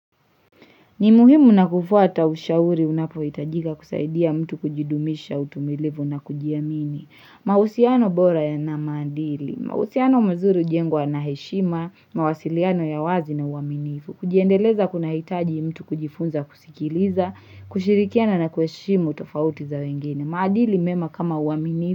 Ni muhimu na kufuata ushauri unapohitajika kusaidia mtu kujidumisha utumilivu na kujiamini. Mausiano bora yana maadili. Mausiano muzuri ujengwa na heshima, mawasiliano ya wazi na uaminifu. Kujiendeleza kunahitaji mtu kujifunza kusikiliza, kushirikiana na kuheshimu tofauti za wengine. Maadili mema kama uaminifu.